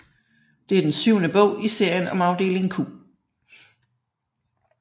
Det er den syvende bog i serien om Afdeling Q